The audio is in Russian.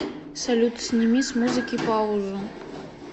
салют сними с музыки паузу